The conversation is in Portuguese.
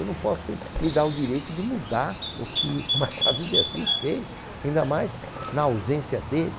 Eu não posso me dar o direito de mudar o que o Machado de Assis fez, ainda mais na ausência dele.